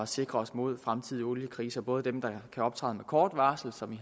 sikre os imod fremtidige oliekriser både dem der kan optræde med kort varsel som i